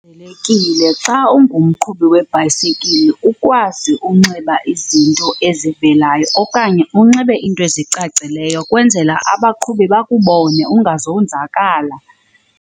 xa ungumqhubi webhayisikile ukwazi unxiba izinto ezivelayo okanye unxibe iinto ezicacileyo kwenzela abaqhubi bakubone ungazonzakala.